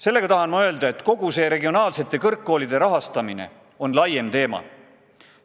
Sellega tahan ma öelda, et kogu see regionaalsete kõrgkoolide rahastamine on laiem teema.